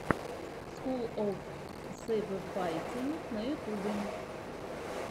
скул оф сэйбэфайтинг на ютюбе